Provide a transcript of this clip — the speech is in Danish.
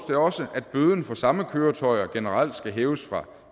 det også at bøden for samme køretøjer generelt skal hæves fra